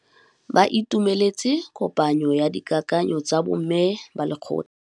Ba itumeletse kôpanyo ya dikakanyô tsa bo mme ba lekgotla.